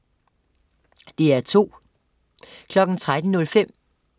DR2: